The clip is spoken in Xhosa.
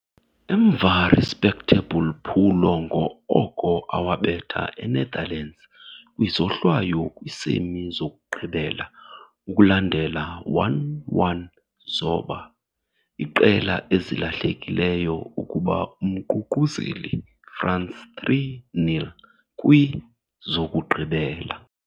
Emva respectable phulo ngo-oko awabetha Enetherlands kwizohlwayo kwii-semi zokugqibela ukulandela 1-1 zoba, iqela ezilahlekileyo ukuba umququzeli France 3-0 kwi - zokugqibela.